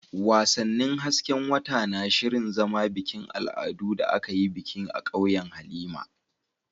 Wasannin hasken wata na shirin zama bikin al'adu da aka yi bikin a ƙauyen Halima.